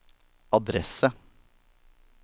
adresse